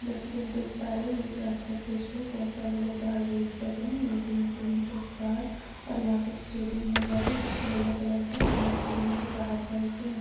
देख पा रहे है एक रात का द्रस्य है बोहोत सारे लोग बहार वेट कर रहे है वेटिंग के साथ और यहाँ पे एक स्टेडियम नजर आरहा है जोकि येलो कलर का है और यह स्टाटिदुम के बहार का उससे--